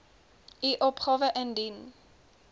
u opgawe indien